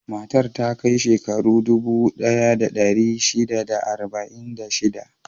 Matar ta kai shekaru dubu ɗaya da ɗari shida da arba'in da shida.